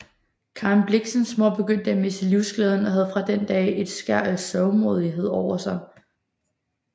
Karen Blixens mor begyndte at miste livsglæden og havde fra den dag et skær af sørgmodighed over sig